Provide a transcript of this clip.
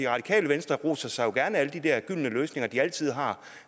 radikale venstre roser sig gerne af alle de der gyldne løsninger de altid har